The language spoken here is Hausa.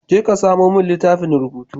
Je ka samamin littattafan rubutu.